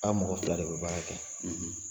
A mɔgɔ fila de bɛ baara kɛ.